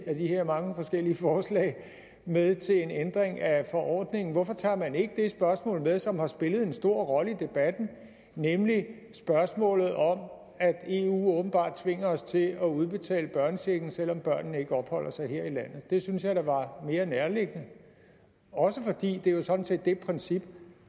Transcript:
af de her mange forskellige forslag med til en ændring af forordningen hvorfor tager man ikke det spørgsmål med som har spillet en stor rolle i debatten nemlig spørgsmålet om at eu åbenbart tvinger os til at udbetale børnechecken selv om børnene ikke opholder sig her i landet det synes jeg da var mere nærliggende også fordi det jo sådan set er det princip